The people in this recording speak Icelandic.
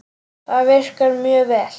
Það virkar mjög vel.